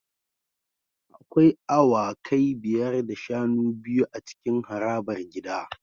Akwai awakai biyar da shanu biyu a cikin harabar gida